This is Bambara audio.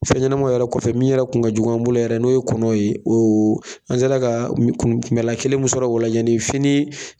Fɛn ɲɛnɛmanw yɛrɛ kɔfɛ min yɛrɛ kun ka jugu an bolo yɛrɛ n'o ye kɔnɔw ye o o an sera kaa kun kunbɛn lan kelen min sɔrɔ ola yeni fini